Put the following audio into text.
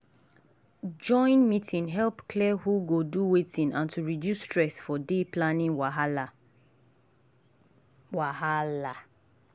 join meeting help clear who go do wetin and to reduce stress for dey planning wahala. wahala.